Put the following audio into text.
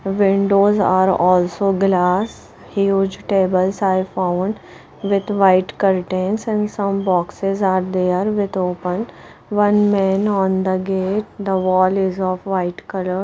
Windows are also glass huge tables are found with white curtains and some boxes are there with open one man on the gate the wall is of white colour.